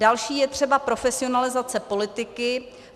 Další je třeba profesionalizace politiky.